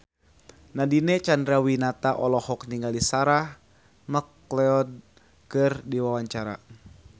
Nadine Chandrawinata olohok ningali Sarah McLeod keur diwawancara